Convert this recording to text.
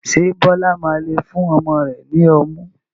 Ṣé Bọlá máa lé fún ọmọ rẹ ni ọmú?